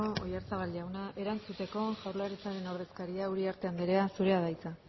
oyarzabal jauna erantzuteko jaurlaritzaren ordezkaria uriarte andrea zurea da hitza